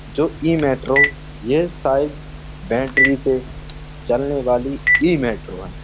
जो इ मेट्रो ये शायद बैटरी से चलने वाली इ मेट्रो है।